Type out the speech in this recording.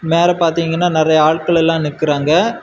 மேல பாத்தீங்கன்னா நெறய ஆள்கள் எல்லா நிக்குறாங்க.